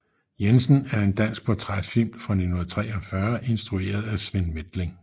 Jensen er en dansk portrætfilm fra 1943 instrueret af Svend Methling